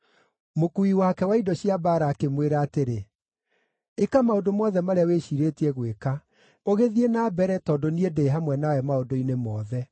Mũkuui wake wa indo cia mbaara akĩmwĩra atĩrĩ, “Ĩka maũndũ mothe marĩa wĩciirĩtie gwĩka, ũgĩthiĩ na mbere tondũ niĩ ndĩ hamwe nawe maũndũ-inĩ mothe.”